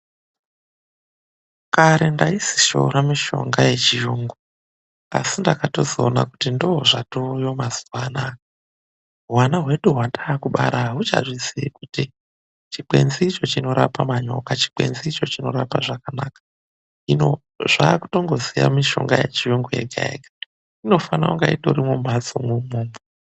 Kare taisishoora mishonga yechiyungu, asi ndakatozoona kuti ndozvatoweyo mazuva anaa , hwana hwedu hwataakubara ahuchazvizii kuti chikwenzi icho chinorape manyoka, chikwenzi icho chinorape zvakanaka. Hino, zvaakutongoziya mishonga yechiyungu yega yega. Inofanira kunge itorimwo mumhatsomwo umwomwo.